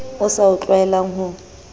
a sa o tlwaelang ho